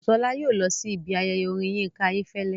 Bùsọ́lá yóò lọ sí ibi ayẹyẹ orin Yínká Ayéfẹ́lẹ́